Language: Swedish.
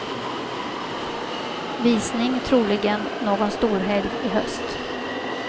Visning troligen någon storhelg i höst.